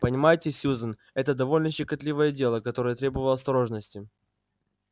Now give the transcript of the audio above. понимаете сьюзен это довольно щекотливое дело которое требовало осторожности